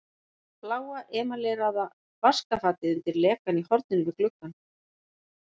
Bláa emaleraða vaskafatið undir lekann í horninu við gluggann.